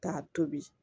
K'a tobi